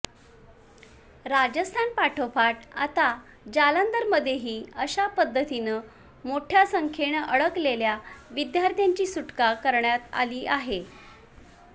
राजस्थानपाठोपाठ आता जालंधरमध्येही अशा पद्धतीनं मोठ्या संख्येनं अडकलेल्या विद्यार्थ्यांची सुटका करण्यात आली आहे